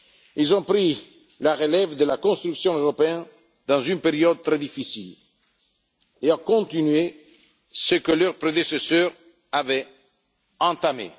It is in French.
Ils ont pris la relève de la construction européenne dans une période très difficile et ont continué ce que leurs prédécesseurs avaient entamé.